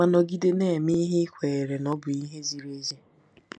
Ma nọgide na-eme ihe i kweere na ọ bụ ihe ziri ezi.